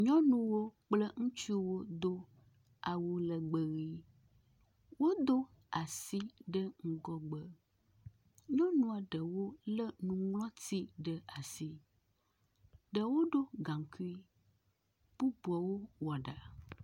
Nyɔnuwo kple ŋutsuwo do awu legbẽ ʋi. Wodo asi ɖe ŋgɔgbe. Nyɔnua ɖewo lé nuŋlɔti ɖe asi. Ɖewo ɖo gaŋkui, bubuwo wɔ ɖa.